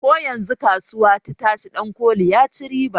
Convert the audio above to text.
Koyanzun kasuwa ta tashi dankoli ya ci riba